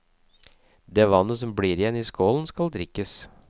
Det vannet som blir igjen i skålen skal drikkes.